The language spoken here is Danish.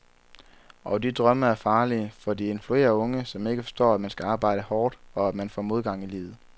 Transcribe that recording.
Og de drømme er farlige, fordi de influerer unge, som ikke forstår, at man skal arbejde hårdt, og at man får modgang i livet.